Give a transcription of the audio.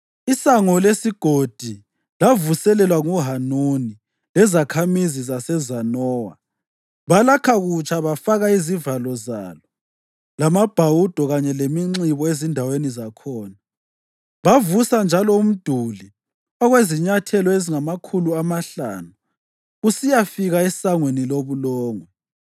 ISango leSigodi lavuselelwa nguHanuni lezakhamizi zaseZanowa. Balakha kutsha bafaka izivalo zalo lamabhawudo kanye leminxibo ezindaweni zakhona. Bavusa njalo umduli okwezinyathelo ezingamakhulu amahlanu kusiyafika eSangweni loBulongwe.